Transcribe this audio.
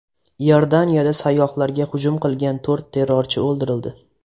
Iordaniyada sayyohlarga hujum qilgan to‘rt terrorchi o‘ldirildi.